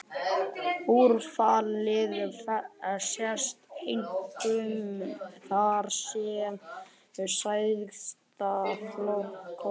Úrfallið sest einkum þar, sem slagæðar klofna og greinast.